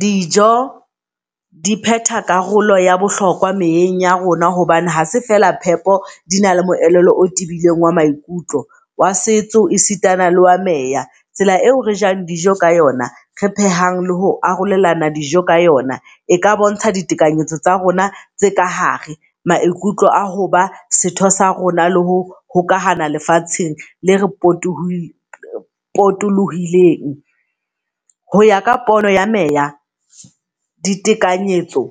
Dijo di pheta karolo ya bohlokwa meyeng ya rona hobane ha se fela phepo di na le moelelo o tibileng wa maikutlo. Wa setso, e sitana le wa meya. Tsela eo re jang dijo ka yona, re phehang le ho arolelana dijo ka yona. E ka bontsha ditekanyetso tsa rona tse ka hare maikutlo a hoba setho sa rona le ho hokahana lefatsheng le re poto potolohileng. Hoya ka pono ya meya ditekanyetso